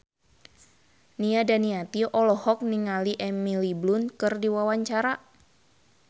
Nia Daniati olohok ningali Emily Blunt keur diwawancara